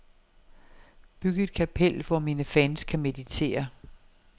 Byg et kapel, hvor mine fans kan meditere.